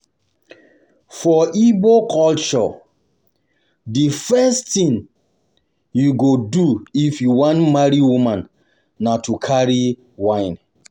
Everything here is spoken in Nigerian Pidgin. For Igbo culture, the first thing you go do if you wan marry woman na to carry wine. wine.